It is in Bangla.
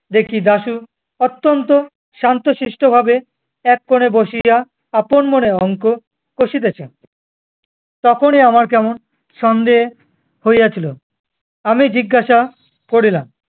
দেখি দাশু অত্যন্ত শান্তশিষ্ট ভাবে এক কোণে বসিয়া আপন মনে অঙ্ক কষিতেছে। তখনি আমার কেমন সন্দেহ হইয়া ছিল। আমি জিজ্ঞাসা করিলাম